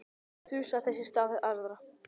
Þusaði þess í stað við aðra.